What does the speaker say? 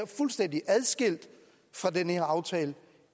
fuldstændig adskilt fra den her aftale